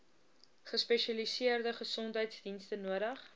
gespesialiseerde gesondheidsdienste nodig